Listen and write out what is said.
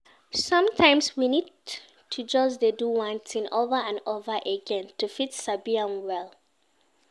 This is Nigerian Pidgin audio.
Somtimes we need to just dey do one thing over and over again to fit sabi am well